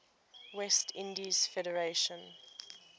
west indies federation